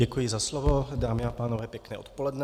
Děkuji za slovo. Dámy a pánové, pěkné odpoledne.